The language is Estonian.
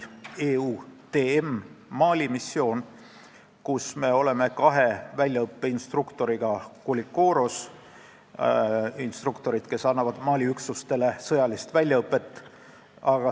Koulikoros on kaks meie instruktorit, kes annavad Mali üksustele sõjalist väljaõpet.